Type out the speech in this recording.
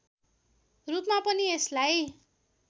रूपमा पनि यसलाई